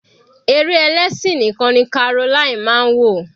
Eré ẹlẹ́sìn nìkan ni Caroline máa ń wò.